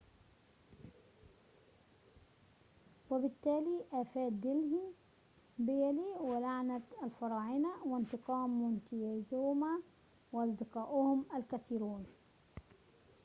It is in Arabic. وبالتالي آفات دلهي بيلي ولعنة الفراعنة وانتقام مونتيزوما وأصدقاؤهم الكثيرون